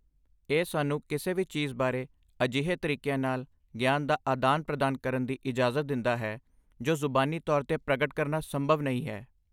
ਇਹ ਸਾਨੂੰ ਕਿਸੇ ਵੀ ਚੀਜ਼ ਬਾਰੇ ਅਜਿਹੇ ਤਰੀਕਿਆਂ ਨਾਲ ਗਿਆਨ ਦਾ ਆਦਾਨ ਪ੍ਰਦਾਨ ਕਰਨ ਦੀ ਇਜਾਜ਼ਤ ਦਿੰਦਾ ਹੈ ਜੋ ਜ਼ੁਬਾਨੀ ਤੌਰ 'ਤੇ ਪ੍ਰਗਟ ਕਰਨਾ ਸੰਭਵ ਨਹੀਂ ਹੈ